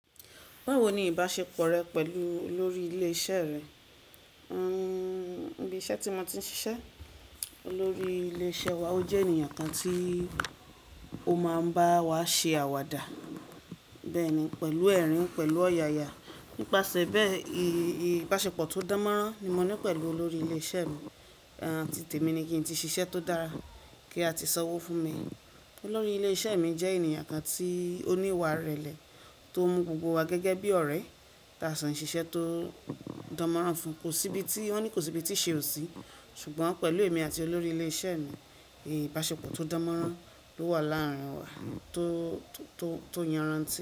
Báwo ni ìbáṣepọ̀ rẹ pẹ̀lú olórí ilé iṣẹ́ rẹ? Hmm, níbi iṣẹ́ tí mo ti ń ṣiṣẹ́, olórí ilé iṣẹ́ wa ó jẹ́ ènìyàn kan tí ó máa ń bá wa ṣe àwàdà. Bẹ́ẹ̀ ni, pẹ̀lú ẹ̀rín, pẹ̀lú ọ̀yàyà. Nípasẹ̀ bẹ́ẹ, ìbáṣepọ̀ tó dánmọ́nrán ni mo ní pẹ̀lú olórí ilé iṣẹ́ mi. Títe mi ni kí n ti ṣiṣẹ́ tó dára kí a ti sanwó fún mi. Olórí ilé iṣẹ́ mi jẹ́ ènìyàn kan tí ó níwà irẹ̀lẹ̀, tó mú gbogbo wa gẹ́gẹ́ bí ọ̀rẹ́. Táa sin ṣiṣẹ́ tó dánmọ́nrán fún. Kò síbi tí, wọ́n ní kò sí ibi tí iṣe ò sí. Ṣùgbọ́n pẹ̀lú èmi àti olórí ilé iṣẹ́ mi, ìbáṣepọ̀ tó dánmọ́nrán ló wà láàárín wa tó, tó, tó yanrantí.